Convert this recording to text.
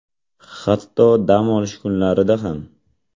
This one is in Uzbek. Hatto dam olish kunlarida ham.